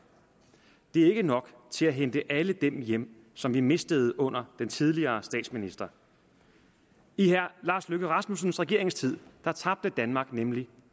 det er ikke nok til at hente alle dem hjem som vi mistede under den tidligere statsminister i herre lars løkke rasmussens regeringstid tabte danmark nemlig